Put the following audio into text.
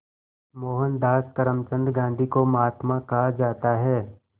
मोहनदास करमचंद गांधी को महात्मा कहा जाता है